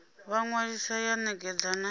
vha ṅwalisa ya ṋekedza na